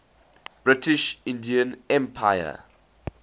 british indian empire